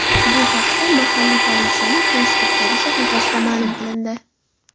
Bu haqda mahalliy politsiyaning Facebook’dagi sahifasida ma’lum qilindi .